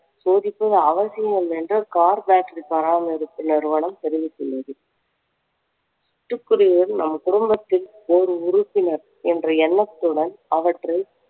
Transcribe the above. சோதிக்கும் அவசியம் இல்லை என்று car battery பராமரிப்பு நிறுவனம் தெரிவித்துள்ளது சிட்டுக்குருவியும் நம் குடும்பத்தில் ஒரு உறுப்பினர் என்ற எண்ணத்துடன் அவற்றை